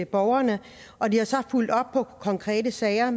borgerne og de har så fulgt op på konkrete sager